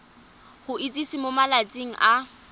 go itsise mo malatsing a